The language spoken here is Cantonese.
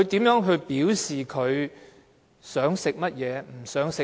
如何表示自己想吃甚麼，不想吃甚麼？